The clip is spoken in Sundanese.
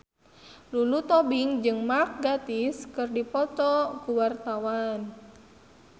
Lulu Tobing jeung Mark Gatiss keur dipoto ku wartawan